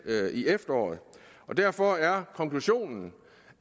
i efteråret derfor er konklusionen